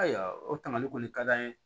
Ayiwa o tangali kɔni ka d'an ye